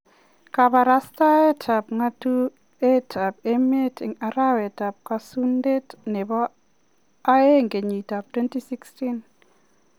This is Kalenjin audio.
kabarastaet ab ngatuet ab emet en arawet ab Kipsunde nebo aeng kenyit ab 2016